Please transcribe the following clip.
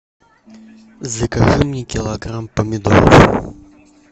закажи мне килограмм помидоров